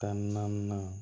Tan ni naani